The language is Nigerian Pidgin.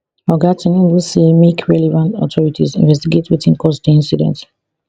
oga tinubu say make relevant authorities investigate wetin cause di incident